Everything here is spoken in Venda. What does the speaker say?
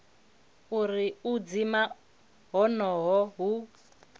uri u dzima honoho hu